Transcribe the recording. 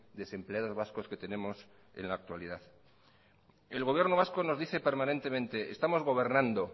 desempleados vascos que tenemos en la actualidad el gobierno vasco nos dice permanentemente estamos gobernando